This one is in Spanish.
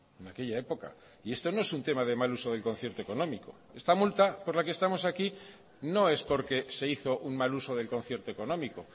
en aquella época y esto no es un tema de mal uso del concierto económico esta multa por la que estamos aquí no es porque se hizo un mal uso del concierto económico